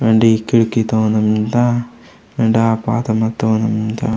वेंडे खिड़की ता ओना मींड़ता एंडा ऊदो बाता मतोड़।